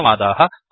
धन्यवादाः